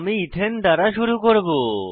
আমি ইথেন দ্বারা শুরু করব